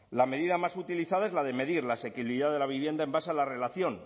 la medida más utilizadas es la de medir la asequibilidad de la vivienda en base a la relación